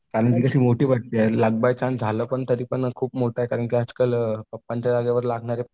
आणि ही कशी मोठी भरती आहे लक बाय चान्स झालं तरीपण खूप मोठी गोष्ट आहे कारण की आजकाल पप्पांच्या जागेवर लागणारे